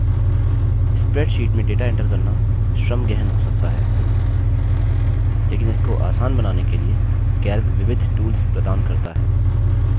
spreadsheet में data enter करना श्रम गहन हो सकता है लेकिन इसको आसान बनाने के लिए calc विविध tools प्रदान करता है